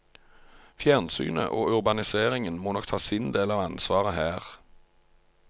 Fjernsynet og urbaniseringen må nok ta sin del av ansvaret her.